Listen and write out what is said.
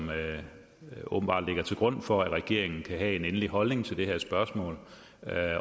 åbenbart skal ligge til grund for at regeringen kan have en endelig holdning til det her spørgsmål